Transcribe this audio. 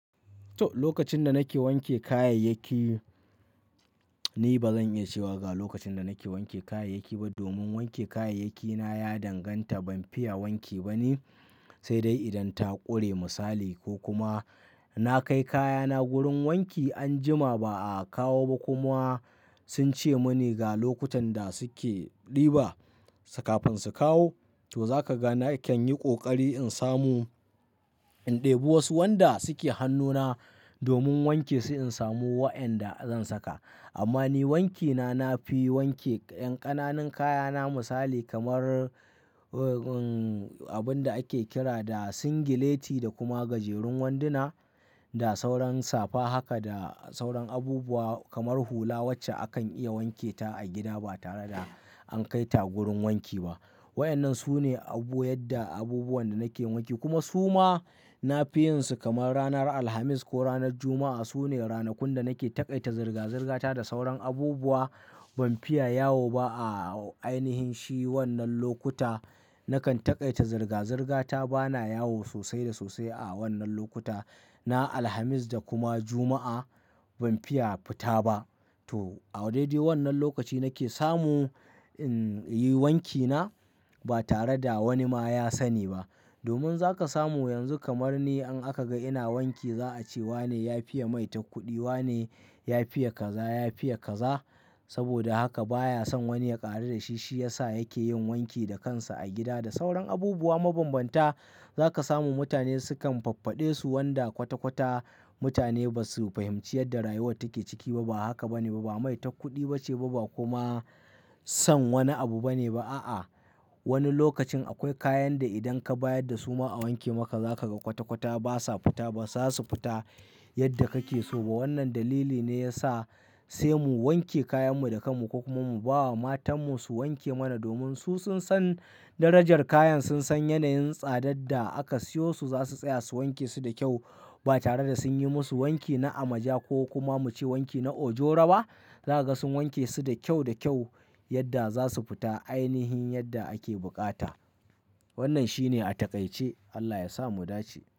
To, lokacin da nake wanke kayayyaki, ni ba zan iya cewa ga lokacin da nake wanke kayayyaki ba domin wanke kayayyakina ya danganta ban fiye wanki ba ni, sai dai idan ta ƙure misali ko kuma na kai kayana gurin wanki an jima ba a kawo ba kuma sun ce mini ga lokutan da suke ɗiba kafin su kawo. To, za ka ga na kan yi ƙoƙari in samu in ɗebi wasu wanda suke hannuna domin wanke su in samu waɗanda zan saka. Amma ni wankina na fi wanke ƴan ƙananan kayana misali kamar, uh, um, abun da ake kira da singileti da kuma gajerun wanduna da sauran safa haka da sauran abubuwa kamar hula wacce akan iya wanketa a gida ba tare da an kai ta gurin wanki ba. Waƴannan su ne abu yadda abubuwan da nake wanke kuma su ma na fi yin su kamar ranar Alhamis ko ranar Juma'a. Su ne ranakun da nake taƙaita zirga-zirgata da sauran abubuwa ban fiya yawo ba a ainihin shi wannan lokuta. Nakan taƙaita zirga-zirgata bana yawo sosai da sosai a wannan lokuta na Alhamis da kuma Juma'a ban fiya fita ba. To, a daidai wannan lokaci nake samu, in, yi wankina ba tare da wani ma ya sani ba. Domin za ka samu yanzu kamar ni in aka ga ina wanki za a ce wane ya fiya mai takkuɗi, wa ne ya fiya kaza, ya fiya kaza. Saboda haka baya son wani ya ƙaru da shi shi ya sa yake yin wanki da kansa a gida da sauran abubuwa mabambanta. Za ka samu mutane sukan faffade su wanda kwata-kwata mutane ba su fahimci yadda rayuwar take ciki ba, ba haka ba ne ba, ba mai takkuɗi bace ba, ba kuma son wani abu ba ne ba a'a. Wani lokacin akwai kayan da idan ka bayar da su ma a wanke maka za ka ga kwata-kwata ba sa fita, ba za su fita yadda kake so ba. Wannan dalili ne ya sa sai mu wanke kayanmu da kanmu ko kuma mu ba wa matanmu su wanke mana domin su sun san darajar kayan, sun san yanayin tsadar da aka siyo su za su tsaya su wanke su da kyau ba tare da sun yi musu wanki na amaja ko kuma muce wanki na ojoro ba. Za ka ga sun wanke su da kyau da kyau yadda za su fita ainihin yadda ake buƙata. Wannan shi ne a taƙaice. Allah ya sa mu dace.